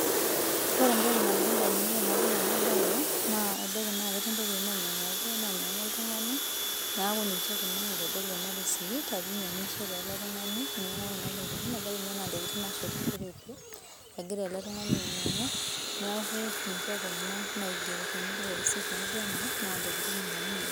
Ore entoki nalotu indamunot tenadol ena baye naa ebaiki naa ketii ntokiting' nainyanguaki naanyangua oltungani niaku ninche kuna naitodolu ena risiti ajo inyangishe ele tungani inyangua kuna tokiting ebiki naa ntokiting naashetishoreki ebaiki naa egira ele tungani ainyangu niaku ninche kuna naigero tena risiti